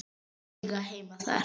Eiga heima þar.